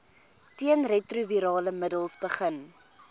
teenretrovirale middels begin